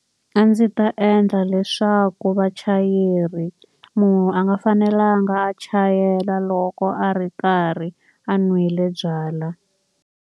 A ndzi ta endla leswaku vachayeri, munhu a nga fanelanga a chayela loko a ri karhi a nwile byalwa.